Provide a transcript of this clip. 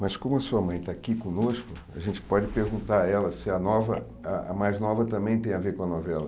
Mas como a sua mãe está aqui conosco, a gente pode perguntar a ela se a nova ah a mais nova também tem a ver com a novela.